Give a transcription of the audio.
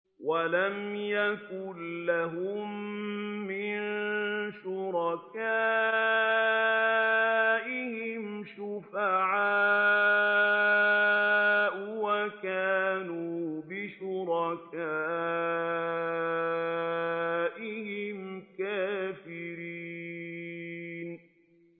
وَلَمْ يَكُن لَّهُم مِّن شُرَكَائِهِمْ شُفَعَاءُ وَكَانُوا بِشُرَكَائِهِمْ كَافِرِينَ